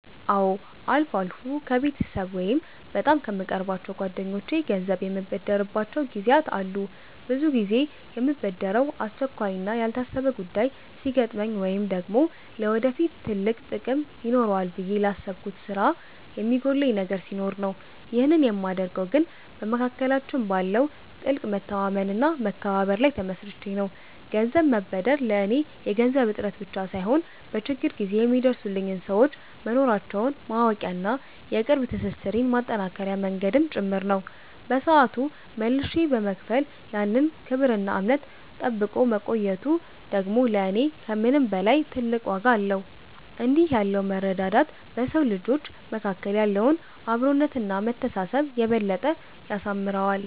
አዎ፣ አልፎ አልፎ ከቤተሰብ ወይም በጣም ከምቀርባቸው ጓደኞቼ ገንዘብ የምበደርባቸው ጊዜያት አሉ። ብዙ ጊዜ የምበደረው አስቸኳይና ያልታሰበ ጉዳይ ሲገጥመኝ ወይም ደግሞ ለወደፊት ትልቅ ጥቅም ይኖረዋል ብዬ ላሰብኩት ስራ የሚጎድለኝ ነገር ሲኖር ነው። ይህንን የማደርገው ግን በመካከላችን ባለው ጥልቅ መተማመንና መከባበር ላይ ተመስርቼ ነው። ገንዘብ መበደር ለኔ የገንዘብ እጥረት ብቻ ሳይሆን፣ በችግር ጊዜ የሚደርሱልኝ ሰዎች መኖራቸውን ማወቂያና የቅርብ ትስስሬን ማጠናከሪያ መንገድም ጭምር ነው። በሰዓቱ መልሼ በመክፈል ያን ክብርና እምነት ጠብቆ መቆየቱ ደግሞ ለኔ ከምንም በላይ ትልቅ ዋጋ አለው። እንዲህ ያለው መረዳዳት በሰው ልጆች መካከል ያለውን አብሮነትና መተሳሰብ የበለጠ ያሳምረዋል።